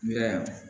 Ya